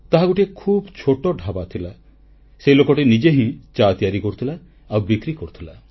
ତାହା ଗୋଟିଏ ଖୁବ୍ ଛୋଟ ଢାବା ଥିଲା ସେହି ଲୋକଟି ନିଜେ ହିଁ ଚା ତିଆରି କରୁଥିଲା ଆଉ ବିକ୍ରି କରୁଥିଲା